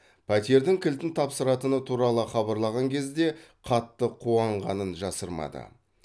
пәтердің кілтін тапсыратыны туралы хабарлаған кезде қатты қуанғанын жасырмады